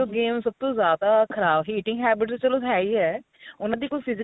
games ਸਭ ਤੋਂ ਜਿਆਦਾ ਖਰਾਬ eating habits ਚਲੋ ਹੈ ਈ ਹੈ ਉਨ੍ਹਾਂ ਦੀ ਕੋਈ physical